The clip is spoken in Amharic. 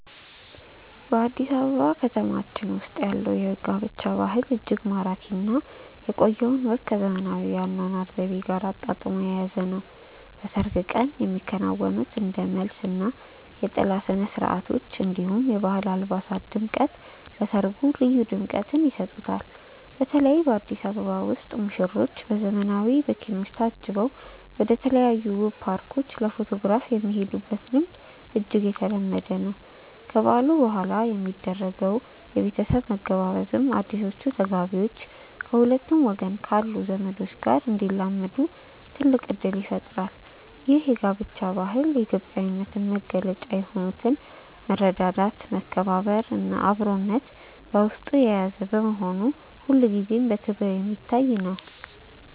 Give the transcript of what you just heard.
በአዲስ አበባ ከተማችን ውስጥ ያለው የጋብቻ ባህል እጅግ ማራኪ እና የቆየውን ወግ ከዘመናዊው የአኗኗር ዘይቤ ጋር አጣጥሞ የያዘ ነው። በሰርግ ቀን የሚከናወኑት እንደ መልስ እና የጥላ ስነስርዓቶች፣ እንዲሁም የባህል አልባሳት ድምቀት ለሰርጉ ልዩ ድምቀትን ይሰጡታል። በተለይ በአዲስ አበባ ውስጥ ሙሽሮች በዘመናዊ መኪኖች ታጅበው ወደተለያዩ ውብ ፓርኮች ለፎቶግራፍ የሚሄዱበት ልምድ እጅግ የተለመደ ነው። ከበዓሉ በኋላ የሚደረገው የቤተሰብ መገባበዝም አዲሶቹ ተጋቢዎች ከሁለቱም ወገን ካሉ ዘመዶች ጋር እንዲላመዱ ትልቅ እድል ይፈጥራል። ይህ የጋብቻ ባህል የኢትዮጵያዊነትን መገለጫ የሆኑትን መረዳዳት፣ መከባበር እና አብሮነትን በውስጡ የያዘ በመሆኑ ሁልጊዜም በክብር የሚታይ ነው።